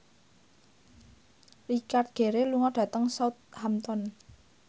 Richard Gere lunga dhateng Southampton